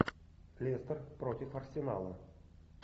лестер против арсенала